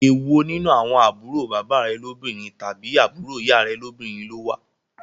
Èwo nínú àwọn àbúrò bàbá rè lóbìnrin tàbí àbúrò ìyá rẹ lóbìnrin ló wá?